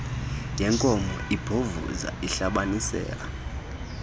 yenkomo ibhovuza ihlabanisela